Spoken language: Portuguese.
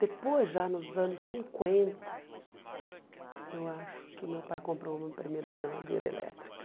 Depois, já nos anos cinquenta, eu acho que meu pai comprou uma primeira geladeira elétrica.